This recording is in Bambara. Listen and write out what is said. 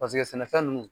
Paseke sɛnɛfɛn ninnu